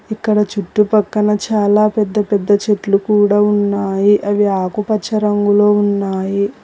ఇక్కడ చుట్టుపక్కన చాలా పెద్ద పెద్ద చెట్లు కూడా ఉన్నాయి అవి ఆకుపచ్చ రంగులో ఉన్నాయి.